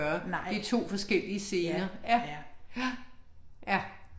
Nej. Ja, ja. Ja